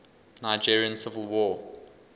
nigerian civil war